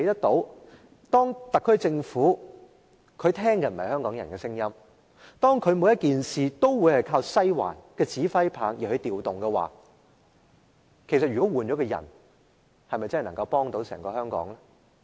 當特區政府不聽香港人的聲音，凡事聽從"西環"的指揮，即使換上另一個人，對香港又有否幫助呢？